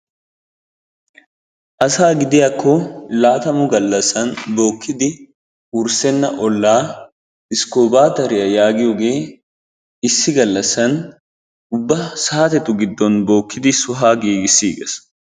Asaa gidiyakko laaatammu galasan bookidi wursenna olaa iskoobateriya yaagiyooge issi galasan ubba saatettu giddon bokidi sohuwa giigisiigis.